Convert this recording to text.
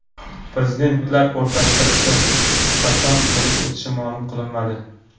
Prezidentlar o‘rtasidagi uchrashuv qachon bo‘lib o‘tishi ma’lum qilinmadi.